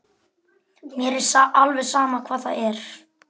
Mér er alveg sama hvað það er.